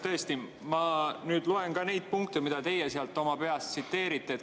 Tõesti, ma nüüd loen ka neid punkte, mida teie peast tsiteerite.